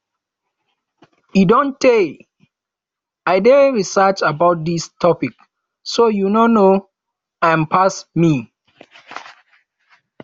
e don tey wey i dey research about dis topic so you no know am pass me